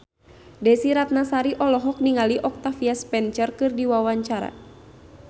Desy Ratnasari olohok ningali Octavia Spencer keur diwawancara